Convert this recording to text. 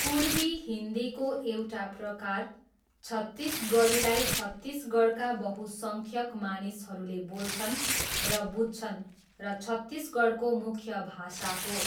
पूर्वी हिन्दीको एउटा प्रकार, छत्तिसगढीलाई छत्तिसगढका बहुसङ्ख्यक मानिसहरूले बोल्छन् र बुझ्छन् र छत्तिसगढको मूख्य भाषा हो।